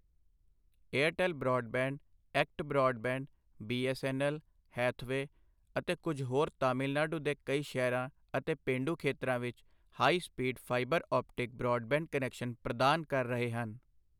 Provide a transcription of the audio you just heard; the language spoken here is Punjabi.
Airtel broadband, ACT broadband, BSNL, Hathway, ਅਤੇ ਕੁਝ ਹੋਰ ਤਾਮਿਲਨਾਡੂ ਦੇ ਕਈ ਸ਼ਹਿਰਾਂ ਅਤੇ ਪੇਂਡੂ ਖੇਤਰਾਂ ਵਿੱਚ high speed fibre optic broadband connection ਪ੍ਰਦਾਨ ਕਰ ਰਹੇ ਹਨ।